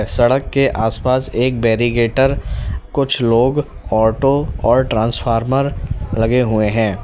सड़क के आस पास एक बैरिकेटर कुछ लोग ऑटो और ट्रांसफार्मर लगे हुए हैं।